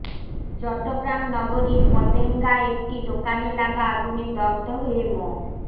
চট্টগ্রাম নগরীর পতেঙ্গায় একটি দোকানে লাগা আগুনে দগ্ধ হয়ে মো